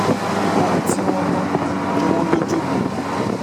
ohun tí wọ́n gbọ́ jọ wọ́n lójú ni